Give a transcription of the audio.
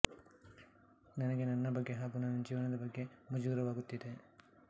ನನಗೆ ನನ್ನ ಬಗ್ಗೆ ಹಾಗೂ ನನ್ನ ಜೀವನದ ಬಗ್ಗೆ ಮುಜುಗರವಾಗುತ್ತಿದೆ